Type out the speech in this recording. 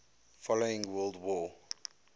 following world war